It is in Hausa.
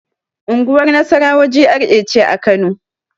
Unguwar nasarawa GRA ce a kano